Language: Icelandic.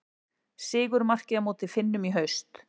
Sigurmarkið á móti Finnum í haust.